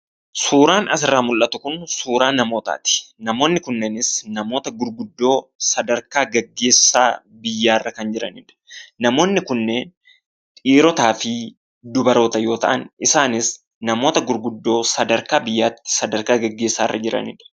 Suuraan asirraa mul'atu kun, suuraa namootaati. namoonni kunneenis, namoota gurguddoo, sadarkaa geggeessaa biyyaarra kan jiranidha. Namonni kunneen, dhiiroota fi dubaroota yoo ta'an, isaanis, namoota gurguddoo sadarkaa biyyaatti, sadarkaa geggeessarra jiranidha.